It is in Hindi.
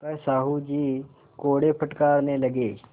पर साहु जी कोड़े फटकारने लगे